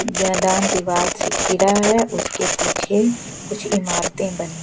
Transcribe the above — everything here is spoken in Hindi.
दीवार से घीरा है उसके पीछे कुछ इमारतें बनी--